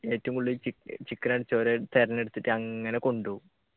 ഏറ്റവും കൂടുതൽ ചിക്കൻ അടിച്ചവരെ തിരഞ്ഞെടുത്തിട്ട് അങ്ങനെ കൊണ്ടുപോകും